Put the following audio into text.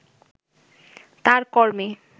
তার কর্মে